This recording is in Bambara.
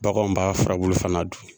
Baganw b'a furabulu fana dun